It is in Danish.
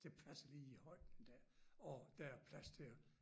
Det passer lige i højden der og der er plads til at